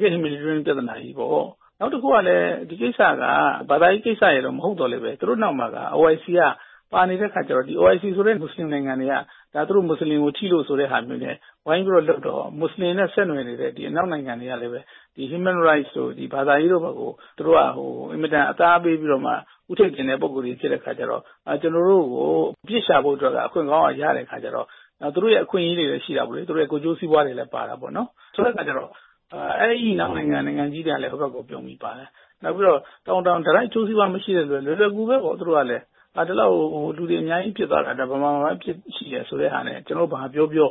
ကယ့် Humanitarian ပြဿနာကြီးပေါ့။ နောက်တခုကလည်းဒီကိစ္စကဘာသာရေးကိစ္စမဟုတ်သော်လည်းပဲ သူတို့နောက်မှာ အိုအိုင်စီပါနေတဲ့အခါကျတော့ အိုအိုင်စီဆိုတဲ့မွတ်စလင်နိုင်ငံတွေက သူတို့မွတ်စလင် တွေကိုထိလို့ဆိုတဲ့ဟာမျိုးနဲ့ဝိုင်းလုပ်တော့ မွတ်စလင်တွေနဲ့ဆက်နွယ်နေတဲ့အနောက်နိုင်ငံတွေကလည်း လူ့အခွင့်အရေးတို့ဘာသာရေးတို့ကို အင်မတန်မှအသားပေးပြီးဦးထိပ်တင်တဲ့သူတွေဖြစ်တဲ့အခါကျတော့ ကျနော်တို့ကိုအပြစ်ရှာဖို့အတွက်အခွင့်ကောင်းရတဲ့အခါကျတော့၊ နောက် သူတို့ရဲ့အခွင့် အရေးတွေ ကိုယ်ကျိုးစီးပွားတွေလည်းပါတာပေါ့နော်။ ဆိုတဲ့အခါကျတော့ အဲဒီအနောက်နိုင်ငံကြီးတွေကလည်း ဟိုဘက်ကိုပြုံပြီးပါတယ်။ နောက်ပြီးတော့ တိုက်ရိုက်အကျိုးစီးပွားမရှိတဲ့နိုင်ငံတွေကလည်း လွယ်လွယ် ကူကူပဲပေါ့ သူတို့ကလဲ ဒီလောက်လူတွေအများကြီးပြစ်သွားတာ ဒါမြန်မာမှာပဲရှိတယ် ဆိုတဲ့ဟာနဲ့ ကျနော်တို့ဘာပြောပြော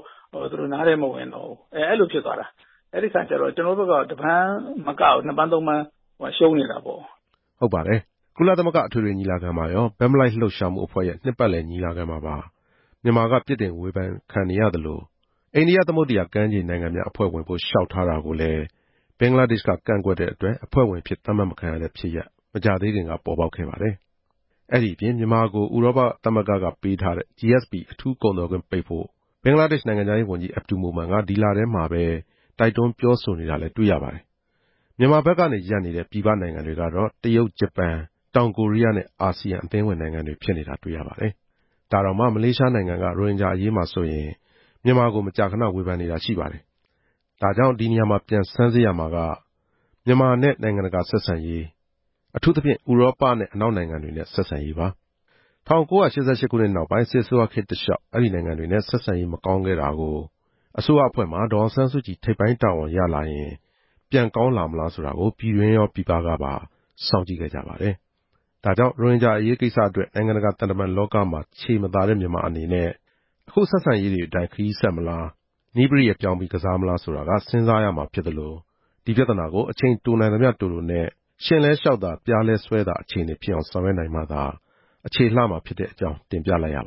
သူတို့နားထဲမဝင်တော့ဘူး။ အဲလိုဖြစ်သွားတာ။ အဲဒီအခါကျတော့ ကျနော်တို့ဘက်က တစ်ပန်းမကဘူး နှစ်ပန်း သုံးပန်းရှုံးနေတာပေါ့”... လို့ပြောပါတယ်။ ဟုတ်ပါတယ်။ ကုလသမဂ ္ဂအထွေထွေညီလာခံမှာရော ဘက်မလိုက်လှုပ်ရှားမှုအဖွဲ့ရဲ့ နှစ်ပတ်လည် ညီလာခံမှာပါ မြန်မာက ပြစ်တင်ဝေဖန်ခံနေရသလို၊ အိန္ဒိယသမုဒ္ဒရာကမ်းခြေ နိုင်ငံများအဖွဲ့ ဝင်ဖို့ လျှောက်ထားတာကိုလည်း ဘင်္ဂလားဒေ့ရှ်က ကန့်ကွက်တဲ့အတွက် အဖွဲ့ဝင်အဖြစ် သတ်မှတ်မခံရတဲ့ဖြစ်ရပ် ပေါ်ပေါက်ခဲ့ပါတယ်။ ဒါ့ပြင် မြန်မာကို ဥရောပသမဂ္ဂကပေးထားတဲ့ GSP အထူးကုန်သွယ်ခွင့်ပိတ်ဖို့ ဘင်္ဂလားဒေ့ရှ် နိုင်ငံခြားရေးဝန်ကြီး အဗ္ဗဒူမိုမန်က ဒီလထဲမှာပဲ တိုက်တွန်းပြောဆိုနေတာလည်း တွေ့ရပါတယ်။ မြန်မာဘက်ကနေ ရပ်နေတဲ့ ပြည်ပနိုင်ငံတွေကတော့ တရုတ်၊ ဂျပန်၊ တောင်ကိုရီးယားနဲ့ အာဆီယံ အသင်းဝင် နိုင်ငံတွေဖြစ်နေတာ တွေ့ရပါတယ်။ ဒါတောင်မှ မလေးရှားနိုင်ငံက ရိုဟင်ဂျာအရေးမှာ မြန်မာကို မကြာခဏ ဝေဖန်နေတာ ရှိပါတယ်။ ဒီနေရာမှာ ပြန်ဆန်းစစ်ရမှာက မြန်မာနဲ့ နိုင်ငံတကာဆက်ဆံရေး၊ အထူးသဖြင့် ဥရောပနဲ့ အနောက်နိုင်ငံတွေနဲ့ ဆက်ဆံရေးပါ။ ၁၉၈၈ ခုနှစ်နောက်ပိုင်း စစ်အစိုးရခေတ်တလျှောက် အဲဒီနိုင်ငံတွေနဲ့ ဆက်ဆံရေး မကောင်းခဲ့တာကို အစိုးရအဖွဲ့မှာ ဒေါ်အောင်ဆန်းစုကြည် ထိပ်ပိုင်းတာဝန်ရလာရင် ပြန်ကောင်းလာမလား ဆိုပြီး ပြည်တွင်းကရော ပြည်ပကပါ စောင့်ကြည့်ခဲ့ကြပါတယ်။ ဒါကြောင့် ရိုဟင်ဂျာအရေးကိစ္စအတွက် နိုင်ငံတကာသံတမန်လောကမှာ ခြေမသာတဲ့ မြန်မာအနေနဲ့ အခု ဆက်ဆံရေးတွေအတိုင်း ခရီးဆက်မလား၊ နည်းပရိယာယ်ပြောင်းပြီး ကစားမလားဆိုတာကို စဉ်းစားရမှာ ဖြစ်သလို ဒီပြဿနာကို အချိန်တိုနိုင်သမျှတိုတိုနဲ့ ရှဉ့်လည်းလျှောက်သာ၊ပျားလည်းစွဲသာ အခြေအနေ ဖြစ်အောင် ဆောင်ရွက်နိုင်မှသာ အခြေလှမှာ ဖြစ်တဲ့အကြောင်း တင်ပြလိုက်ရတယ